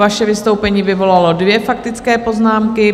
Vaše vystoupení vyvolalo dvě faktické poznámky.